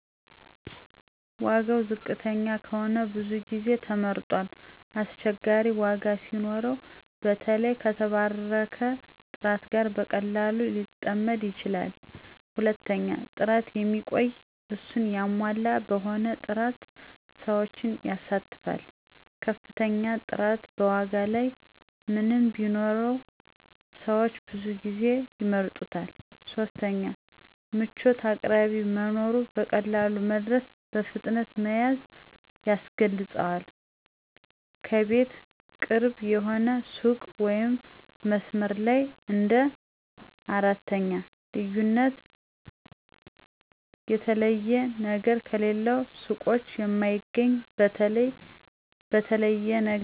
1. ዋጋ ዋጋ ዝቅተኛ ከሆነ ብዙ ጊዜ ተመርጧል አስቸጋሪ ዋጋ ሲኖረው በተለይ ከተባረከ ጥራት ጋር በቀላሉ ሊጠምድ ይችላል 2. ጥራት የሚቆይ፣ እሱን ያሟላ በሆነ ጥራት ሰዎችን ይሳተፋል ከፍተኛ ጥራት በዋጋ ላይ ምንም ቢኖር ሰዎች ብዙ ጊዜ ይምረጡታል 3. ምቾት አቅራቢያ መኖሩ፣ በቀላሉ መድረሱ፣ በፍጥነት መያዝ ያስገልጿል ከቤት ቅርብ የሆነ ሱቅ ወይም በመስመር ላይ እንደ 4. ልዩነት የተለየ ነገር ከሌሎች ሱቆች የማይገኝ፣ በተለይ ነገር የሚሸጥ ሲሆን ወይም አንድ ነገር በብዙ ዓይነት አማራጮች የሚቀርብ ሲሆን 5. እምነትና እሴት የተወደደ አምራች ወይም ተመራጭ ሱቅ ታማኝ መሆኑ ምክንያት ሊሆን ይችላል በፊት ተጠቀመና ተረካ ቢሆን ደግሞ ሰዎች በዚያ ይመራሉ